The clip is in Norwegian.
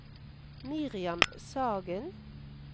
Miriam Sagen